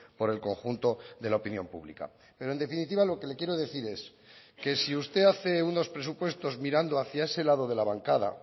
por el conjunto de la opinión pública pero en definitiva lo que le quiero decir es que si usted hace unos presupuestos mirando hacia ese lado de la bancada